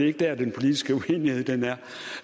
ikke der den politiske uenighed